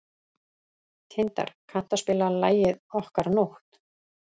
Tindar, kanntu að spila lagið „Okkar nótt“?